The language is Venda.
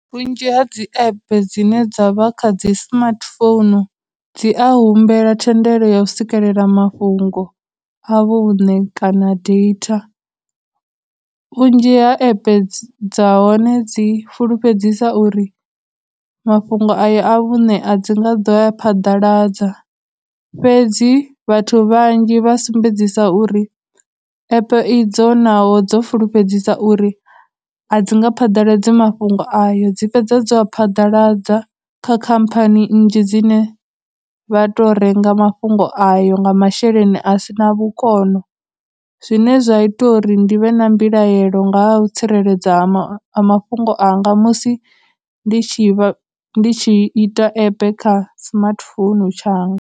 Vhunzhi ha dzi app dzine dza vha kha dzi smartphone dzi a humbela thendelo ya u sikelela mafhungo a vhune kana data, vhunzhi ha app dza hone dzi fulufhedzisa uri mafhungo aya a vhune, a dzi nga ḓo a phaḓaladza fhedzi, vhathu vhanzhi vha sumbedzisa uri a idzo naho dzo fulufhedzisa uri a dzi nga phaḓaladzi mafhungo ayo dzi fhedza dzo a phadaladza kha khamphani nnzhi dzine vha tou renga mafhungo ayo nga masheleni asina vhukono. Zwine zwa ita uri ndi vhe na mbilaelo nga ha u tsireledza ha mafhungo anga musi ndi tshi vha, ndi tshi ita app kha smartphone tshanga.